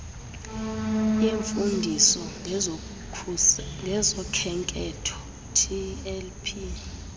yemfundiso ngezokhenketho tlp